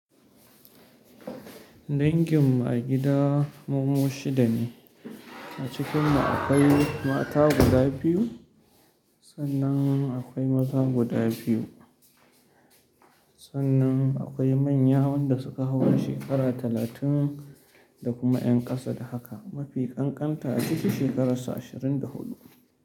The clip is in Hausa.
Dangin mu a gida mumu shida ne, a cikin mu akwai mata guda biyu sannan akwai maza guda biyu, sannan akwai manyan wanda suka haura shekara talatin da kuma ƴan ƙasa da haka. Mafi ƙanƙanta a ciki shekarar sa ashirin da huɗu.